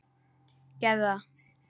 Gerðu það.